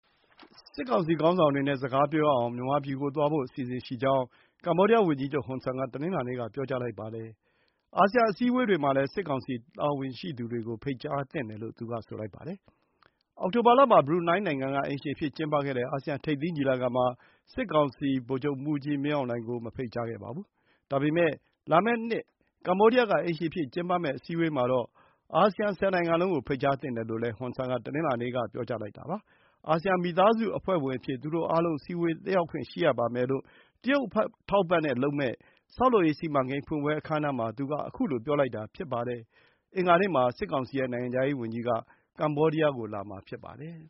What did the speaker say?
စစ်ကောင်စီ ခေါင်းဆောင်တွေနဲ့ စကားပြောရအောင် မြန်မာပြည်ကိုသွားဖို့ အစီအစဉ်ရှိကြောင်း ကမ္ဘောဒီးယားဝန်ကြီးချုပ် ဟွန်ဆန်က တနင်္လာနေ့က ပြောကြားလိုက်ပါတယ်။ အာဆီယံ အစည်းအဝေးတွေမှာလည်း စစ်ကောင်စီ တာဝန်ရှိသူတွေကို ဖိတ်ကြားသင့်တယ်လို့ သူကဆိုပါတယ်။ အောက်တိုဘာလမှာ ဘရူနိုင်းနိုင်ငံက အိမ်ရှင်အဖြစ် ကျင်းပခဲ့တဲ့ အာဆီယံ ထိပ်သီးညီလာခံမှာ စစ်ခေါင်းဆောင် ဗိုလ်ချုပ်မှူးကြီးမင်းအောင်လှိုင်ကို မဖိတ်ကြားခဲ့ပါဘူး။ ဒါပေမယ့် လာမယ့်နှစ် ကမ္ဘောဒီးယားက အိမ်ရှင်အဖြစ် ကျင်းပမယ့် အစည်းအဝေးမှာတော့ အာဆီယံ ၁၀ နိုင်ငံလုံးကို ဖိတ်ကြားသင့်တယ်လို့ ဟွန်ဆန်က တနင်္လာနေ့က ပြောကြားလိုက်တာပါ။ အာဆီယံမိသားစု အဖွဲ့ဝင်အဖြစ် သူတို့အားလုံး အစည်းအဝေးတက်ရောက်ခွင့် ရှိရပါမယ်လို့ တရုတ်အထောက်အပံ့နဲ့ လုပ်မယ့် ဆောက်လုပ်ရေးစီမံကိန်း ဖွင့်ပွဲအခမ်းအနားမှာ သူက ခုလိုပြောလိုက်တာ ဖြစ်ပါတယ်။ အင်္ဂါနေ့မှာ စစ်ကောင်စီရဲ့ နိုင်ငံခြားရေးဝန်ကြီးက ကမ္ဘောဒီးယားကို လာမှာဖြစ်ပါတယ်